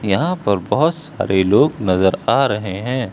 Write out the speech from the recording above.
यहां पर बहोत सारे लोग नजर आ रहे हैं।